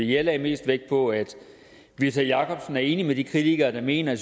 jeg lagde mest vægt på at whitta jacobsen er enig med de kritikere der mener at